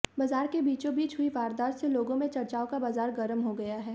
बाजार के बीचोंबीच हुई वारदात से लोगों में चर्चाओं का बाजार गर्म हो गया है